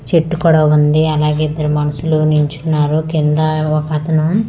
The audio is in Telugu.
చెట్టు కూడా ఉంది అలాగే ఇద్దరు మనుషులు నించున్నారు కింద ఒక అతను--